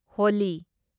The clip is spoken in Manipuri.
ꯍꯣꯂꯤ